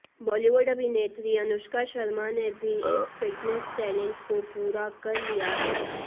बॉलीवुड अभिनेत्री अनुष्का शर्मा ने भी इस फिटनेस चैलेंज को पूरा कर लिया है